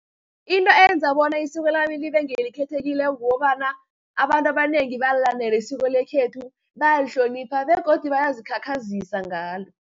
Into eyenza bona isiko lami libe ngelikhethekileko kukobana, abantu abanengi bayalilandela isiko lekhethu, bayalihlonipha, begodu bayazikhakhazisa ngalo.